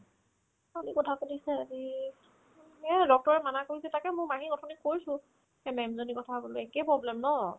কালিৰ কথা কৈছে আজি ময়ে এনকা মানা কৰিছো তাকে মোৰ মাহীৰ অথনি কৈছো সেই ma'am জনীৰ কথা বোলো একে problem ন